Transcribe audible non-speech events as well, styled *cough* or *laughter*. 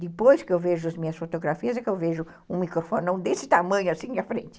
Depois que eu vejo as minhas fotografias, é que eu vejo um microfone *laughs* desse tamanho, assim, à frente.